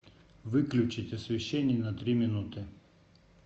выключить освещение на три минуты